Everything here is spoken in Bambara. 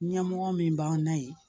Ɲɛmɔgɔ min b'an na yen